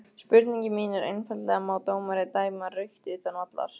Spurningin mín er einfaldlega má dómari dæma rautt utan vallar?